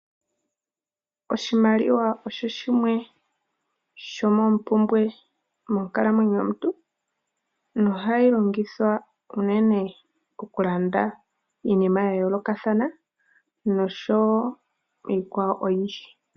Oshimaliwa osho shimwe sho moompumbwe monkalamwenyo yomuntu, no hayi longithwa uunene oku landa iinima ya yoolokathana nosho wo iikwawo oyindji.